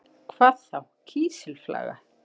Hvað þá kísilflaga?